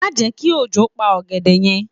Má je ki òjò pa ògèdè yen